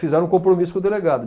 Fizeram um compromisso com o delegado.